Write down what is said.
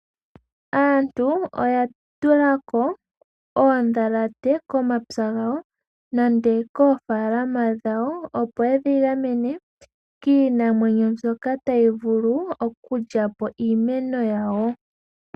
Aantu oya tula ko oondhalate komapya gawo nenge koofaalama dhawo, opo yedhi gamene kiinamwenyo mbyoka tayi vulu okulya po iimeno yawo.